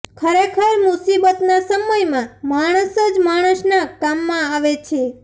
ખરેખર મુસીબતના સમયમાં માણસ જ માણસના કામમાં આવે છે